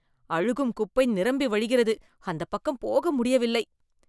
அழுகும் குப்பை நிரம்பி வழிகிறது. அந்தப் பக்கம் போக முடியவில்லை.